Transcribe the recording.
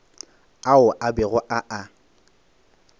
ao a bego a a